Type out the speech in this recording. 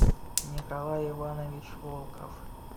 николай иванович волков